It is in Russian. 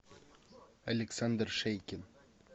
александр шейкин